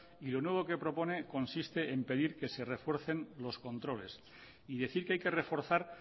y lo nuevo que propone consiste en pedir que se refuercen los controles y decir que hay que reforzar